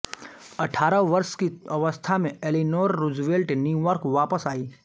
अठारह वर्ष की अवस्था में एलीनोर रूज़वेल्ट न्यूयार्क वापस आईं